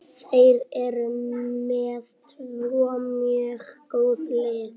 Þeir eru með tvö mjög góð lið.